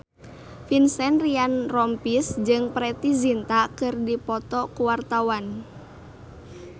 Vincent Ryan Rompies jeung Preity Zinta keur dipoto ku wartawan